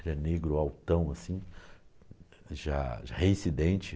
era negro altão, assim, já já reincidente.